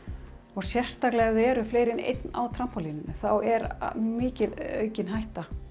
og sérstaklega ef það eru fleiri en einn á þá er mikil aukin hætta